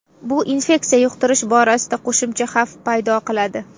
Bu infeksiya yuqtirish borasida qo‘shimcha xavf paydo qiladi.